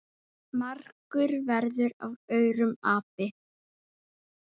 margur verður af aurum api.